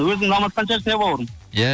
өзің намазхан шығарсың ия бауырым иә